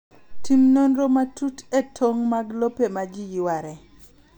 Tim nonro matut e tong’ mag lope ma ji yware.